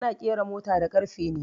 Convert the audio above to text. Ana ƙera mota da ƙarfe ne